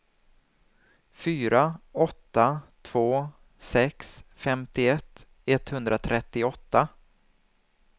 fyra åtta två sex femtioett etthundratrettioåtta